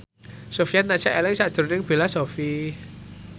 Sofyan tansah eling sakjroning Bella Shofie